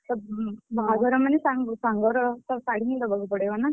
ବାହାଘର ମାନେ ସାଙ୍ଗର ତ ଶାଢୀ ହିଁ ଦବାକୁ ପଡିବ ନା!